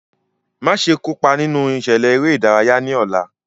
Maṣe kopa ninu iṣẹlẹ ere-idaraya ni ọla!